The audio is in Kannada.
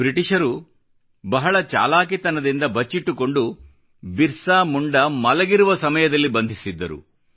ಬ್ರಿಟಿಷರು ಬಹಳ ಚಾಲಾಕಿತನದಿಂದ ಬಚ್ಚಿಟ್ಟುಕೊಂಡು ಬಿರ್ಸಾ ಮುಂಡಾ ಮಲಗಿರುವ ಸಮಯದಲ್ಲಿ ಬಂಧಿಸಿದ್ದರು